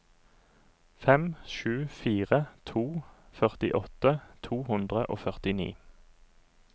fem sju fire to førtiåtte to hundre og førtini